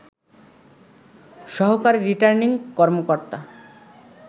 সহকারী রিটার্নিং কর্মকর্তা